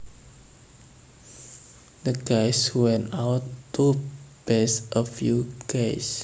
The guys went out to bash a few gays